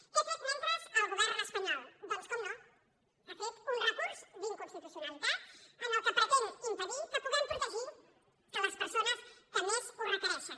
què ha fet mentre el govern espanyol doncs com no ha fet un recurs d’inconstitucionalitat amb què pretén impedir que pu·guem protegir les persones que més ho requereixen